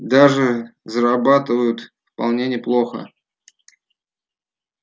даже зарабатывают вполне неплохо